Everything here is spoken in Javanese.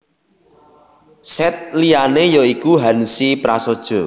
Sèt liyané ya iku Hanzi prasaja